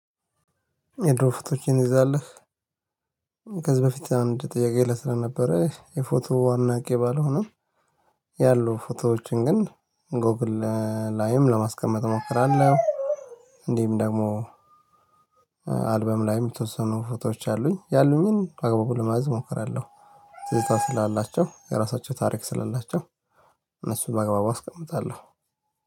የድሮ ፎቶዎችን ይዛለህ? ከዚህ በፊት አንድ ጥያቄ ላይ ስለነበረ የፎቶ አድናቂ ባልሆነም ያሉ ፎቶዎችን ግን ጎግል ላይም ለማስቀመጥ እሞክራለሁ። እንዲህም ደግሞ አልበም ላይ የምትወስኑ ፎቶዎች አሉኝ ያሉኝን በአግባቡ ለማዘዝ እሞክራለሁ። ትዝታ ስላላቸው የራሳቸው ታሪክ ስላላቸው እነሱን በአግባቡ አስቀምጣለሁ